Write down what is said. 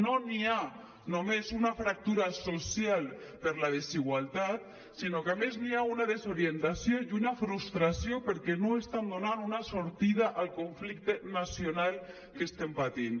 no hi ha només una fractura social per la desigualtat sinó que a més hi ha una desori·entació i una frustració perquè no estan donant una sortida al conflicte nacional que estem patint